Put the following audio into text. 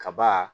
Kaba